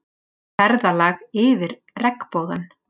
Ferðalag yfir regnbogann